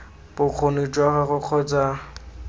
bokgoni jwa gagwe kgotsa ii